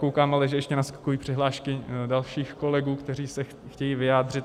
Koukám, že ale ještě naskakují přihlášky dalších kolegů, kteří se chtějí vyjádřit.